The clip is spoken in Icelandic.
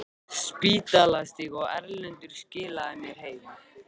Spítalastíg, og Erlendur skilaði mér heim!